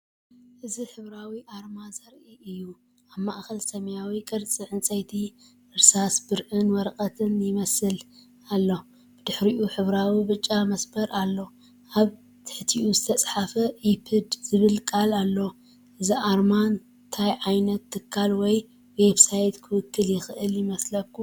እዚ ሕብራዊ ኣርማ ዘርኢ እዩ። ኣብ ማእከል ሰማያዊ ቅርጺ ዕንጨይቲ፣ እርሳስ ብርዕን ወረቐትን ዝመስል ኣሎ። ብድሕሪት ሕብራዊ ብጫ መስመር ኣሎ። ኣብ ትሕቲኡ ዝተጻሕፈ "ኢፕድ" ዝብል ቃል ኣሎ። እዚ ኣርማ እንታይ ዓይነት ትካል ወይ ዌብሳይት ክውክል ይኽእል ይመስለኩም?